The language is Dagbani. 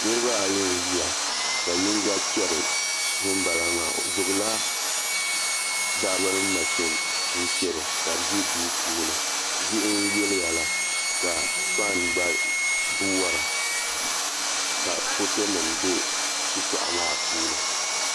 Niraba ayi n ʒiya ka yinga chɛri ŋunbala maa o gbubila baabirin mashin n chɛro ka bi ʒi duu puuni diɣi n yiliya la ka faan gba wora ka foto nim bɛ shitoɣu maa puuni